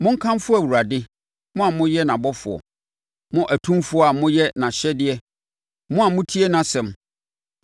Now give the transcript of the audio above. Monkamfo Awurade, mo a moyɛ nʼabɔfoɔ, mo atumfoɔ a moyɛ nʼahyɛdeɛ, mo a motie nʼasɛm.